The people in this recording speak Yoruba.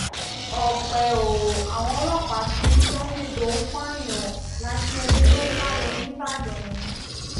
ọpẹ́ o àwọn ọlọ́pàá ti rí sunday tó ń pààyàn lakinyẹlé tó sá lọ nìbàdàn mu